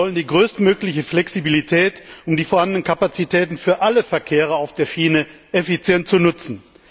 Wir wollen die größtmögliche Flexibilität, um die vorhandenen Kapazitäten für alle Verkehrsarten auf der Schiene effizient zu nutzen.